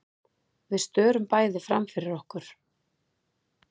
Við störum bæði framfyrir okkur.